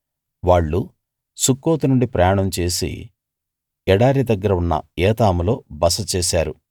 వాళ్ళు సుక్కోతు నుండి ప్రయాణం చేసి ఎడారి దగ్గర ఉన్న ఏతాములో బస చేశారు